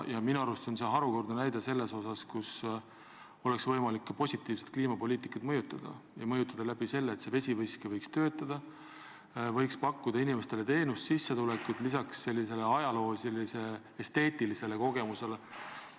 Minu arust on see harukordne näide selle kohta, et oleks võimalik positiivselt kliimapoliitikat mõjutada ja seda sellega, et see vesiveski võiks töötada, võiks pakkuda inimestele teenust ja sissetulekut lisaks sellisele ajaloolis-esteetilisele kogemusele.